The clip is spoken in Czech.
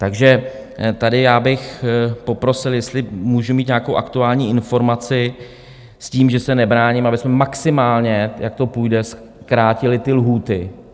Takže tady já bych poprosil, jestli můžu mít nějakou aktuální informaci, s tím, že se nebráním, abychom maximálně, jak to půjde, zkrátili ty lhůty.